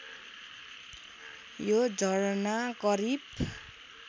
यो झरना करिब